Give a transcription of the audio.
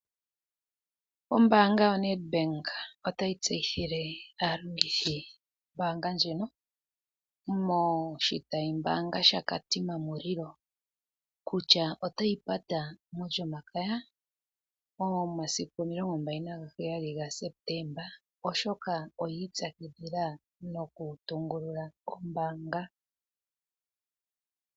Ombaanga yoNedBank otayi tseyithile aalongithi yombaanga ndjino moshitayi mbaanga shaKatima Mulilo otayi pata molyomakaya momasiku 27 Sepetemba oshoka oyiipwakidhila nokutungulula ombaanga.